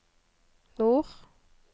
nord